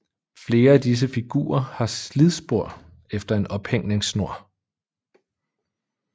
Flere af disse figurer har slidspor efter en ophængningssnor